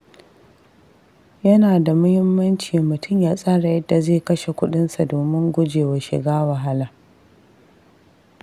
Yana da muhimmanci mutum ya tsara yadda zai kashe kuɗinsa domin gujewa shiga wahala.